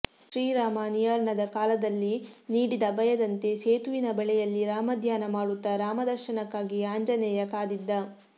ಶ್ರೀರಾಮ ನಿರ್ಯಾಣದ ಕಾಲದಲ್ಲಿ ನೀಡಿದ ಅಭಯದಂತೆ ಸೇತುವಿನ ಬಳಿಯಲ್ಲಿ ರಾಮಧ್ಯಾನ ಮಾಡುತ್ತಾ ರಾಮದರ್ಶನಕ್ಕಾಗಿ ಆಂಜನೇಯ ಕಾದಿದ್ದ